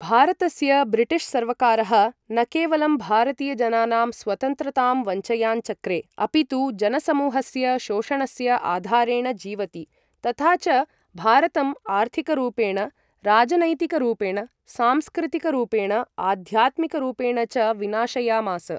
भारतस्य ब्रिटिश् सर्वकारः न केवलं भारतीयजनानाम् स्वतन्त्रतां वञ्चयाञ्चक्रे, अपितु जनसमूहस्य शोषणस्य आधारेण जीवति, तथा च भारतं आर्थिकरूपेण, राजनैतिकरूपेण, सांस्कृतिकरूपेण, आध्यात्मिकरूपेण च विनाशयामास।